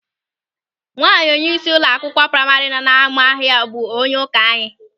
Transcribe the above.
Nwaanyị onyeisi ụlọ akwụkwọ praima nọ n'Amakọhia bụ onyeụka anyị.